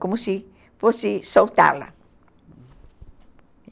Como se fosse soltá-la.